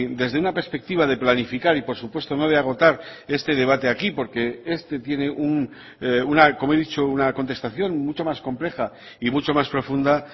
desde una perspectiva de planificar y por supuesto no de agotar este debate aquí porque este tiene como he dicho una contestación mucho más compleja y mucho más profunda